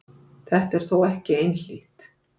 Þetta er þó ekki einhlítt.